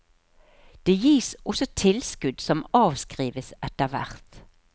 Det gis også tilskudd som avskrives etter hvert.